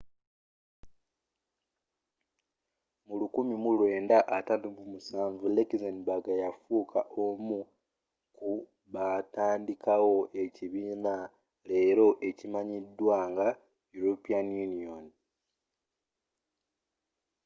mu 1957 luxembourg yafuuka omu kubaatandikawo ekibiina leero ekimanyiddwa nga european union